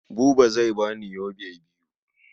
Buba zai ba ni yobe biyu.